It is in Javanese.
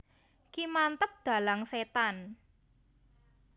Ki Manteb Dhalang Setan